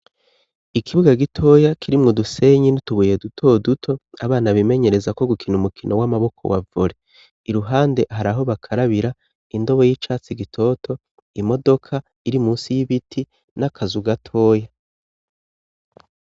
Ikibuwa gitoya kirimwu dusenyi nitubuye dutoduto abana bimenyereza ko gukina umukino w'amaboko wavore i ruhande hari aho bakarabira indobo y'icatsi gitoto imodoka iri musi y'ibiti n'akaz ugatoya.